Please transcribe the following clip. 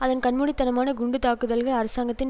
அதன் கண்மூடித்தனமான குண்டுத்தாக்குதல்கள் அரசாங்கத்தின்